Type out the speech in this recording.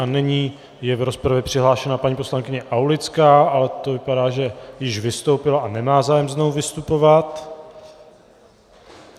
A nyní je v rozpravě přihlášena paní poslankyně Aulická, ale to vypadá, že již vystoupila a nemá zájem znovu vystupovat.